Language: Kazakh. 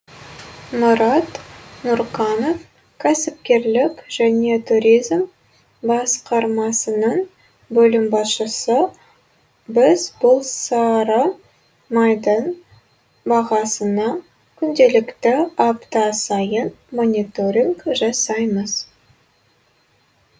мұрат нұрқанов кәсіпкерлік және туризм басқармасының бөлім басшысы біз бұл сары майдың бағасына күнделікті апта сайын мониторинг жасаймыз